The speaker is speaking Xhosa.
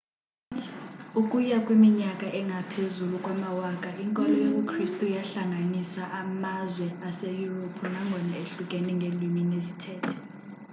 ukuya kwiminyaka engaphezu kwamawaka inkolo yobu kristu yahlanganisa amazwe aseyurophu nangona ehlukene ngeelwini nezithethe